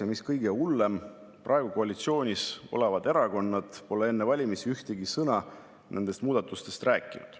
Ja mis kõige hullem, praegu koalitsioonis olevad erakonnad pole enne valimisi ühtegi sõna nendest muudatustest rääkinud.